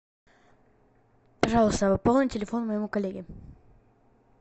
пожалуйста пополни телефон моему коллеге